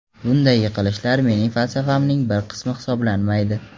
Bunday yiqilishlar mening falsafamning bir qismi hisoblanmaydi.